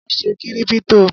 Wá ṣe kírípítò.